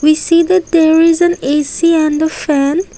we see that there is an A_C and a fan.